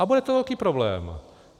A bude to velký problém.